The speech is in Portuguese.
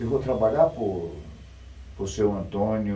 Eu vou trabalhar por por seu Antônio,